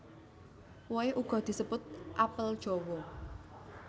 Wohe uga disebut apel jawa